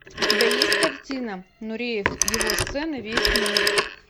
у тебя есть картина нуреев его сцена весь мир